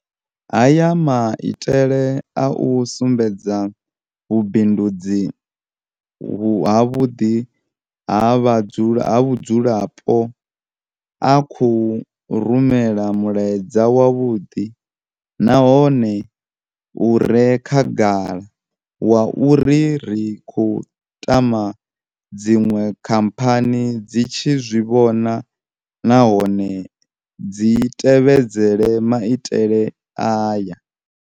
Haya maitele a u sumbedza vhubindudzi havhuḓi ha vhudzulapo a khou rumela mulaedza wavhuḓi nahone u re khagala wa uri ri khou tama dziṅwe khamphani dzi tshi zwi vhona nahone dzi tevhedzele maitele aya.